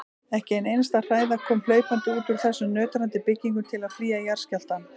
Ekki ein einasta hræða kom hlaupandi út úr þessum nötrandi byggingum til að flýja jarðskjálftann.